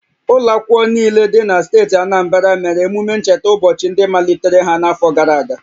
Ụlọ akwụkwọ niile dị na steeti Anambra mere emume ncheta ụbọchị ndị malitere ha n'afọ gara aga